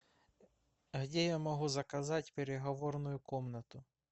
где я могу заказать переговорную комнату